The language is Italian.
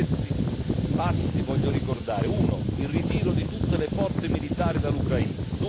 Tra questi passi voglio ricordare uno, il ritiro di tutte le forze militari dall'Ucraina